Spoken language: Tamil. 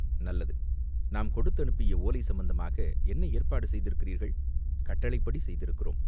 "நல்லது, நாம் கொடுத்தனுப்பிய ஓலை சம்பந்தமாக என்ன ஏற்பாடு செய்திருக்கிறீர்கள்?" "கட்டளைப்படி செய்திருக்கிறோம்.